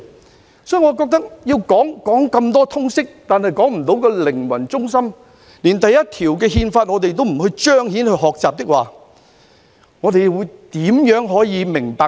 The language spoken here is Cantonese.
我認為教授那麼多通識，但卻說不出靈魂，連《憲法》第一條也不加以彰顯和學習，我們又如何可以明理？